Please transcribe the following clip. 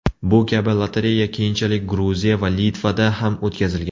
Bu kabi lotereya keyinchalik Gruziya va Litvada ham o‘tkazilgan.